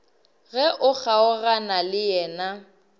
ge o kgaogana le yena